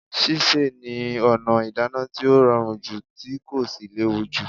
Sísè ni ọ̀nà ìdáná tí ó rọrùn jù tí kò sì léwù jù.